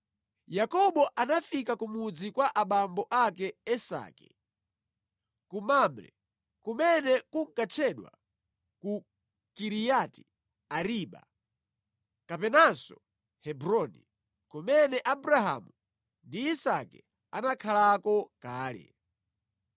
Yakobo anafika ku mudzi kwa abambo ake Isake ku Mamre, (kumene kunkatchedwa ku Kiriyati-Ariba kapenanso Hebroni) kumene Abrahamu ndi Isake anakhalako kale.